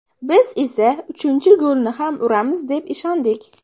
Biz esa uchinchi golni ham uramiz deb ishondik.